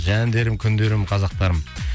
жандарым күндерім қазақтарым